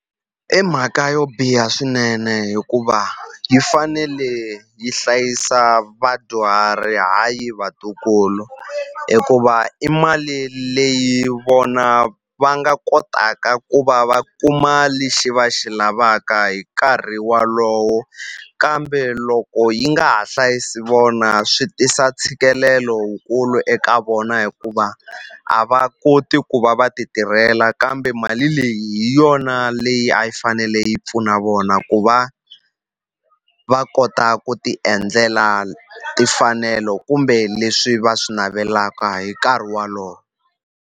I mhaka yo biha swinene hikuva yi fanele yi hlayisa vadyuhari hayi vatukulu hikuva i mali leyi vona va nga kotaka ku va va kuma lexi va xi lavaka hi nkarhi walowo kambe loko yi nga ha hlayisi vona swi tisa ntshikelelo wukulu eka vona hikuva a va koti ku va va ti tirhela kambe mali leyi hi yona leyi a yi fanele yi pfuna vona ku va va kota ku ti endlela timfanelo kumbe leswi va swi navelaka hi nkarhi walowo.